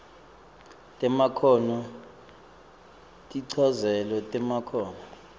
temakhono tinchazelo temakhono